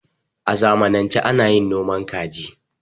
a zanmance ana yin noman kaji